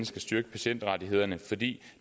skal styrke patientrettighederne fordi